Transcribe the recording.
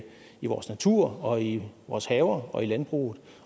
i vores natur og i vores haver og i landbruget